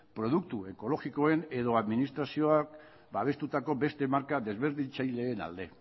produktu ekologikoen edo administrazioak babestutako beste marka desberdintzaileen alde